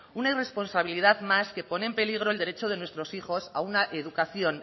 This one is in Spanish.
una irresponsabilidad más que pone en peligro el derecho de nuestros hijos a una educación